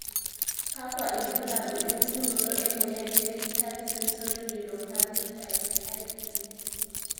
kakwa ilbulabul opukunoto emoyian Hereditary sensory neuropathy type IE?